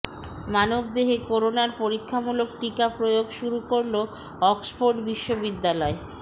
মানবদেহে করোনার পরীক্ষামূলক টিকা প্রয়োগ শুরু করলো অক্সফোর্ড বিশ্ববিদ্যালয়